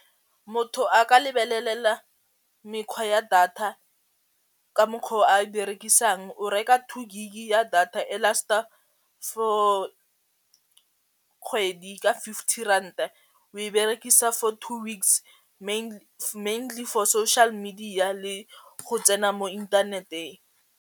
Motho a ka lebelelela mekgwa ya data ka mokgwa o a e berekisang, o reka two gig ya data e last-a for kgwedi ka fifty ranta o e berekisa for two weeks mainly for social media le go tsena mo inthaneteng.